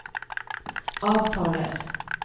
avtaler